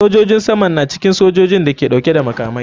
Sojojin saman na cikin sojojin da ke dauke da makamai.